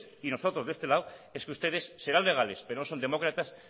y nosotros de este lado es que ustedes serán legales pero no son demócratas